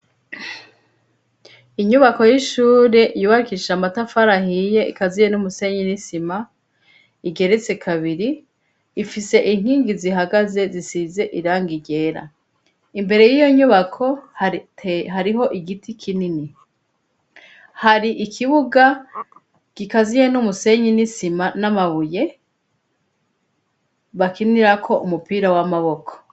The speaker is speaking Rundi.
Inyubako y'ishure yubakishije amatafari ahiye, ikaziye n'umusenyi, n'isima, igeretse kabiri, ifise inkingi zihagaze, zisize irangi ryera, imbere y'iyo nyubako hariho igiti kinini, hari ikibuga gikaziye n'umusenyi, n'isima, n'amabuye, bakinirako umupira w'amaboko.